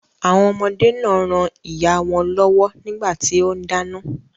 Àwọn ọmọdé náà ran ìyáà wọn lọ́wọ́ nígbà tí ó ń dáná.